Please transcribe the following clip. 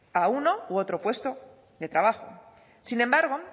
a uno u otro propuesto de trabajo sin embargo